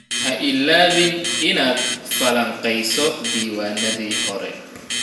Ha iloobin inaad falanqeyso diiwaanadii hore.